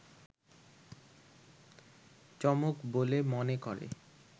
চমক বলে মনে করে